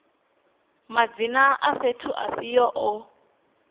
madzina a fhethu afhio o